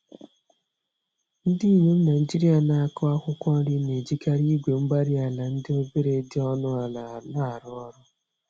Ndinyom Nigeria n'akụ akwụkwọ nri, n'ejikarị igwe-mgbárí-ala ndị obere dị ọnụ ala, narụ ọrụ